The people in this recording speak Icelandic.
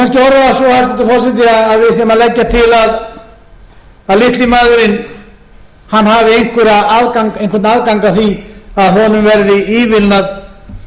orða það svo hæstvirtur forseti að við séum að leggja til að litli maðurinn hafi einhvern afgang af því að honum verði ívilnað